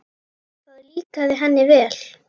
Það líkaði henni vel.